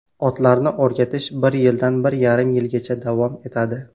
Otlarni o‘rgatish bir yildan bir yarim yilgacha davom etadi.